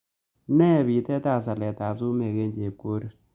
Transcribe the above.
Nee bitetab saletap sumekap ann chepkorir